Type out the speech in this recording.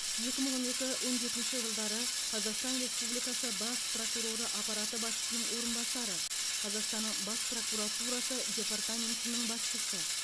екі мың он екі он жетінші жылдары қазақстан республикасы бас прокуроры аппараты басшысының орынбасары қазақстанның бас прокуратурасы департаментінің басшысы